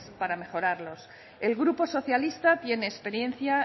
para mejorarlos el grupo socialista tiene experiencia